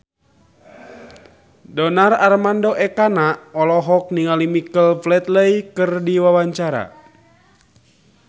Donar Armando Ekana olohok ningali Michael Flatley keur diwawancara